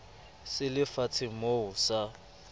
se le fatshemoo sa mo